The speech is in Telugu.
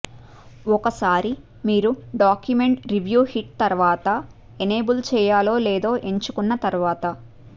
ఒకసారి మీరు డాక్యుమెంట్ రివ్యూ హిట్ తరువాత ఎనేబుల్ చేయాలో లేదో ఎంచుకున్న తర్వాత